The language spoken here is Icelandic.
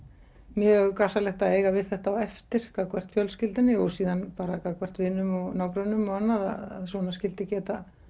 mjög gasalegt að eiga við þetta á eftir gagnvart fjölskyldunni og síðan bara gagnvart vinum og nágrönnum og annað að svona skyldi geta